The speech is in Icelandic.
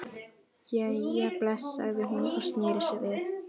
Hér verður lauslega lýst upprunalegu kerfi og tæknibúnaði virkjunarinnar.